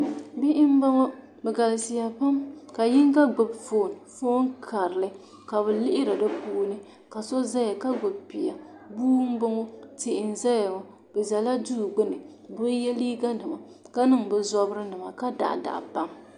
bihi m-bɔŋɔ bɛ galisiyan pam ka yiŋga gbubi foon foon karili ka bɛ lihiri di puuni ka so zaya ka gbubi bia bua m-bɔŋɔ tihi n-zaya ŋɔ bɛ zaya duu gbuni bɛ bi ye liiganima ka niŋ bɛ zobirinima ka daɣidaɣi pam